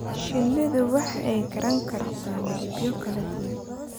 Shinnidu waxay garan kartaa midabyo kala duwan.